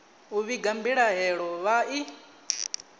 u vhiga mbilahelo vha i